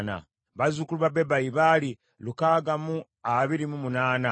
bazzukulu ba Bebayi baali lukaaga mu abiri mu munaana (628),